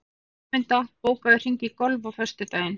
Rósmunda, bókaðu hring í golf á föstudaginn.